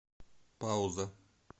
пауза